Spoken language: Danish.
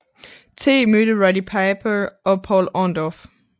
T mødte Roddy Piper og Paul Orndorff